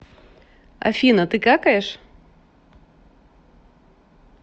афина ты какаешь